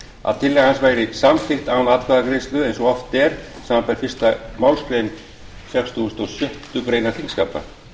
að tillaga hans væri samþykkt án atkvæðagreiðslu eins og oft er samanber fyrstu málsgrein sextugustu og sjöttu greinar þingskapa